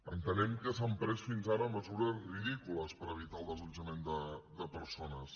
entenem que s’han pres fins ara mesures ridícules per evitar el desallotjament de persones